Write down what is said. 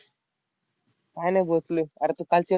काही नाही बसलोय. अरे तू कालची match बघितली का?